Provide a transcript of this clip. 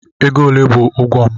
Ego ole bụ ụgwọ m?